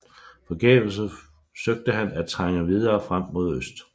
Forgæves søgte han at trænge videre frem mod øst